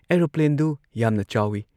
ꯑꯦꯔꯣꯄ꯭꯭ꯂꯦꯟꯗꯨ ꯌꯥꯝꯅ ꯆꯥꯎꯏ ꯫